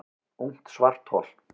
Ungt svarthol